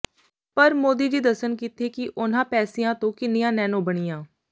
ਪਰ ਮੋਦੀ ਜੀ ਦੱਸਣ ਕਿੱਥੇ ਕਿ ਉਨ੍ਹਾਂ ਪੈਸਿਆਂ ਤੋਂ ਕਿੰਨੀਆਂ ਨੈਨੋ ਬਣੀਆਂ